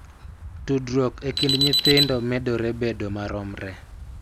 Tudruok e kind nyithindo medore bedo maromre,